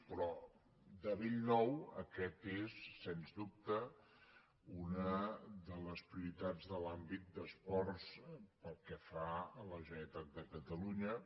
però de bell nou aquesta és sens dubte una de les prioritats de l’àmbit d’esports pel que fa a la generalitat de catalunya